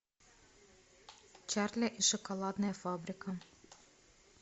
чарли и шоколадная фабрика